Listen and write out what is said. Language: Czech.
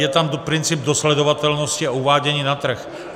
Je tam princip dosledovatelnosti a uvádění na trh.